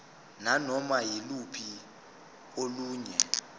nanoma yiluphi olunye